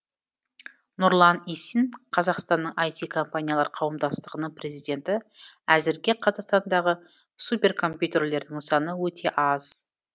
нұрлан исин қазақстанның іт компаниялар қауымдастығының президенті әзірге қазақстандағы суперкомпьютерлердің саны өте аз